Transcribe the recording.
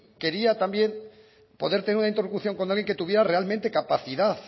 quería también poder tener una interlocución con alguien que tuviera realmente capacidad